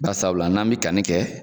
Barisabula n'an mɛ kanni kɛ